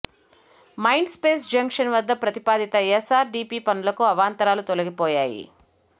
mind space junction వద్ద ప్రతిపాదిత SRDP పనులకు అవాంతరాలు తొలిగిపోయాయి